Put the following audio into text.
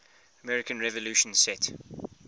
american revolution set